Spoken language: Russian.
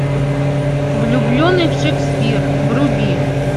влюбленный шекспир вруби